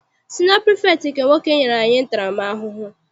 Siniọ pirifektị nke nwoke nyere anyị ntara m ahụhụ.